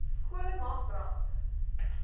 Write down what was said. kolle mag brand